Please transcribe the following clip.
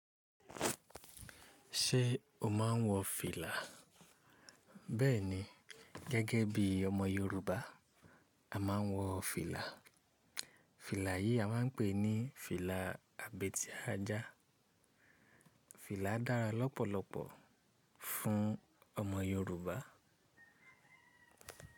Ṣé o máa ń wọ fìlà? Bẹ́ẹ̀ni, gẹ́gẹ́ bí ọmọ Yorùbá a máa ń wọ fìlà. Fìlà yìí a máa ń pè ní fìlà àbètíaájà. Fìlà dára lọ́pọ̀lọpọ̀ fún ọmọ Yorùbá.